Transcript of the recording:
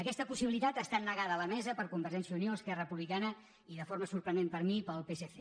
aquesta possibilitat ha estat negada a la mesa per convergència i unió esquerra republicana i de forma sorprenent per a mi pel psc